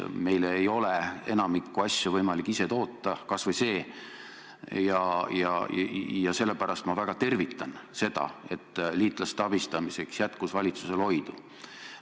Meil ei ole enamikku asju võimalik ise toota, kas või see, ja sellepärast ma väga tervitan seda, et liitlaste abistamiseks jätkus valitsusel oidu.